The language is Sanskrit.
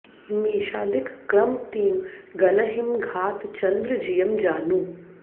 मेषादिक क्रम तें गनहिं घात चंद्र जियँ जानु